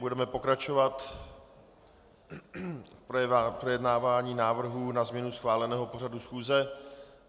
Budeme pokračovat v projednávání návrhů na změnu schváleného pořadu schůze.